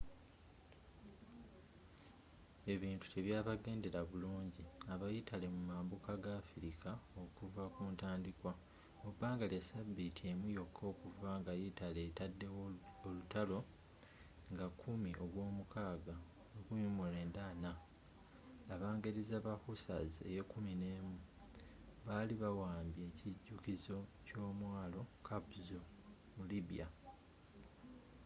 ebintu tebyabagendera bulungi abayitale mu mambuka ga afrika okuva kuntandikwa mubbanga lya sabiiti emu yokka okuva nga yitale etaddewo olutalo nga 10 ogwomukaaga 1940 abangereza ba hussars 11th baali bawambye ekijukizo kyomwalo capuzzo mu libya